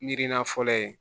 Miirina fɔlɔ in